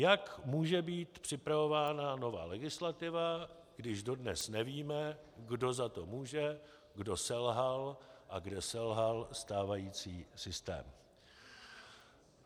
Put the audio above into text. Jak může být připravována nová legislativa, když dodnes nevíme, kdo za to může, kdo selhal a kde selhal stávající systém?